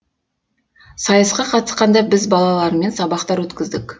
сайысқа қатысқанда біз балалармен сабақтар өткіздік